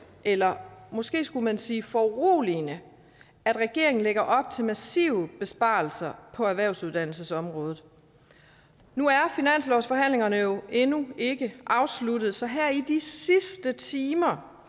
eller måske skulle man sige foruroligende at regeringen lægger op til massive besparelser på erhvervsuddannelsesområdet nu er finanslovsforhandlingerne jo endnu ikke afsluttet så her i de sidste timer